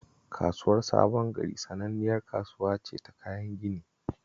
Kasuwar Sabon Gari sananniyar kasuwa ce ta kayan gini